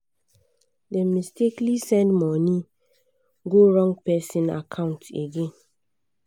dem mistakenly send money go wrong person account again.